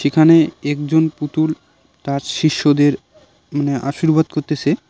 সেখানে একজন পুতুল তার শিষ্যদের মানে আশীর্বাদ করতেসে।